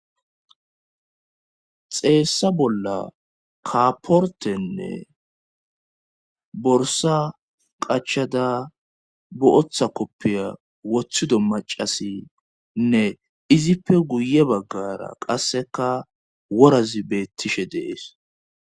Xeessa bolla kaaportenne borsa qachada bo7otha koppiya wothido macasinne izippe guye baggara qasseka worazi beettishe dees